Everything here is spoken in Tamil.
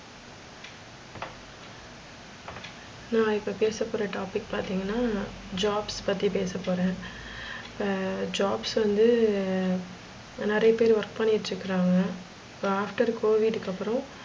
நான் இப்போ பேசபோற topic பாத்திங்கனா jobs பத்தி பேசபோறேன். jobs வந்து நிறைய பேரு work பண்ணிக்கிட்டு இருக்காங்க. இப்ப after covid க்கு அப்புறம்,